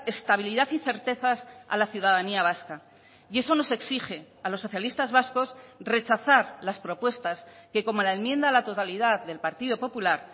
estabilidad y certezas a la ciudadanía vasca y eso nos exige a los socialistas vascos rechazar las propuestas que como la enmienda a la totalidad del partido popular